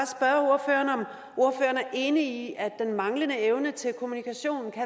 enig i at den manglende evne til kommunikation kan